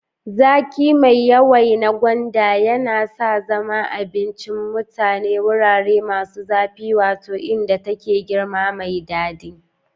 Zaƙi mai yawai na gwanda ya sa ya zama abincin mutanen wurare masu zafi, wato inda take girma mai daɗi.